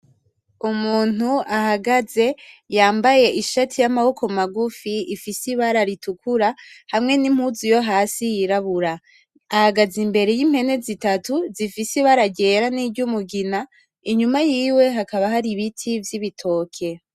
Umuntu ahagaze yambaye ishati yamaboko magufi ifise ibara ritukura hamwe n'impuzu yohasi yirabura ahagaze imbere y'impene zitatu zifise ibara ryera niryumugina inyuma yiwe hakaba hari ibiti vy'itoke.